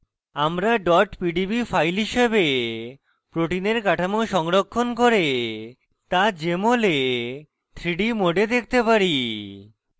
আমরা pdb files হিসাবে proteins কাঠামো সংরক্ষণ করে তা jmol we 3d mode দেখতে পারি